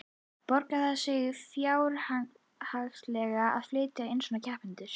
Borgar það sig fjárhagslega að flytja inn svona kempur?